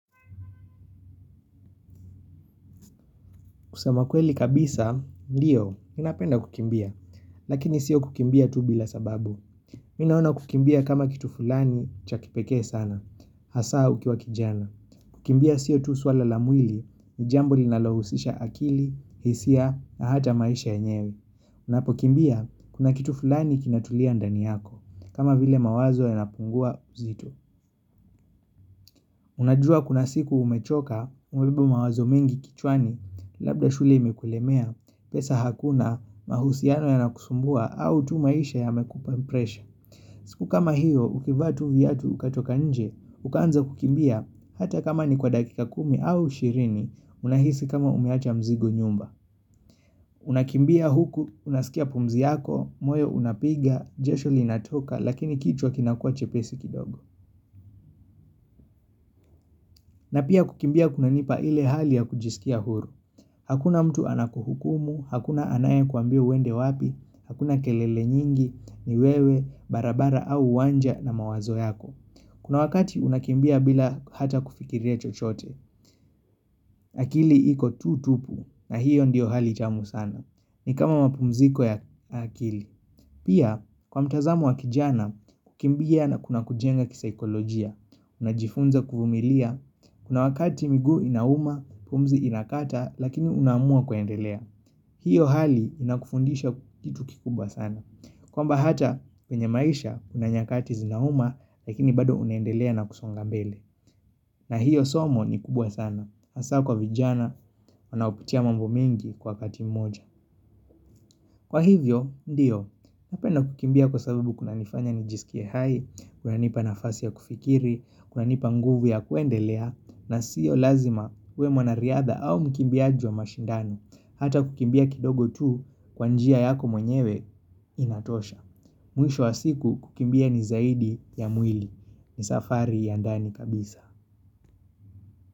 Kusema kweli kabisa, ndiyo, ninapenda kukimbia, lakini sio kukimbia tu bila sababu. Mi naona kukimbia kama kitu fulani cha kipekee sana, hasaa ukiwa kijana. Kukimbia sio tu swala la mwili, ni jambo linalohusisha akili, hisia, na hata maisha yenyewe. Unapo kimbia, kuna kitu fulani kinatulia ndani yako, kama vile mawazo yapungua nzito. Unajua kuna siku umechoka umebeba mawazo mengi kichwani labda shule imekulemea pesa hakuna mahusiano yanakusumbua au tu maisha yamekupa impression. Siku kama hiyo ukivaa tu viatu ukatoka nje ukaanza kukimbia hata kama ni kwa dakika kumi au ishirini unahisi kama umewacha mzigo nyumba. Unakimbia huku unasikia pumzi yako, moyo unapiga, jasho linatoka lakini kichwa kinakua chepesi kidogo. Na pia kukimbia kuna nipa ile hali ya kujisikia huru. Hakuna mtu anakuhukumu, hakuna anaye kuambia uende wapi, hakuna kelele nyingi, ni wewe, barabara au uwanja na mawazo yako. Kuna wakati unakimbia bila hata kufikiria chochote. Akili iko tu tupu na hiyo ndiyo hali tamu sana. Ni kama mapumziko ya akili. Pia kwa mtazamo wa kijana kukimbia na kuna kujenga kisaikolojia. Unajifunza kuvumilia kuna wakati mguu inauma pumzi inakata lakini unaamua kuendelea. Hiyo hali inakufundisha kitu kikubwa sana. Kwamba hata kwenye maisha kunanyakati zinauma lakini bado unaendelea na kusonga mbele. Na hiyo somo ni kubwa sana hasaa kwa vijana wanaopitia mambo mengi kwa wakati mmoja. Kwa hivyo, ndiyo, napenda kukimbia kwa sababu kuna nifanya nijisikie hai, kuna nipa nafasi ya kufikiri, kuna nipa nguvu ya kuendelea, na siyo lazima uwe mwanariadha au mkimbiaji wa mashindano, hata kukimbia kidogo tu kwa njia yako mwenyewe inatosha. Mwisho wa siku kukimbia ni zaidi ya mwili, ni safari ya ndani kabisa.